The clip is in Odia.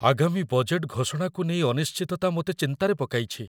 ଆଗାମୀ ବଜେଟ୍‌‌‌ ଘୋଷଣାକୁ ନେଇ ଅନିଶ୍ଚିତତା ମୋତେ ଚିନ୍ତାରେ ପକାଇଛି।